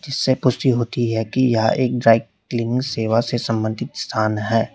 से पुष्टि होती है कि यह एक ड्राई क्लीन सेवा से संबंधित स्थान है।